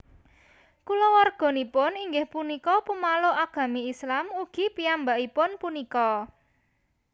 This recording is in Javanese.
Kulawarganipun inggih punika pamaluk Agami Islam ugi piyambakipun punika